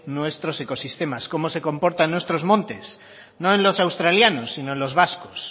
nuestros ecosistemas cómo se comporta en nuestros montes no en los australianos sino en los vascos